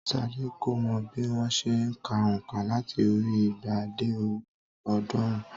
Sadé kò mọ bí wón se n ka ònkà láti orí i igba dé orí i ọ̀ọ́dúnrún